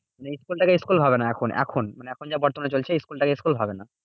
মানে school টাকে school ভাবে না এখন। এখন মানে এখন যা বর্তমানে চলছে school টাকে school ভাবে না।